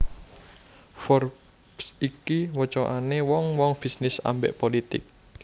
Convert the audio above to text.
Forbes iki wocoane wong wong bisnis ambek politik